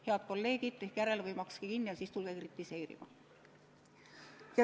Head kolleegid, tehke järele või makske kinni ja siis tulge kritiseerima!